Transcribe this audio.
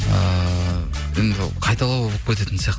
ыыы енді қайталау болып кететін сияқты